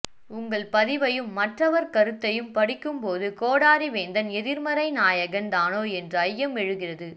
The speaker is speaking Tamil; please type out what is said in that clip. உங்கள் பதிவையும் மற்றவர் கருத்தையும் படிக்கும் போது கோடாரி வேந்தன் எதிர்மறை நாயகன் தானோ என்று ஐயம் எழுகிறது